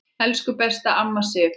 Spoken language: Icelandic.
Elsku besta amma Sif.